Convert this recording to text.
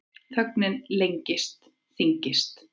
Þögnin lengist, þyngist.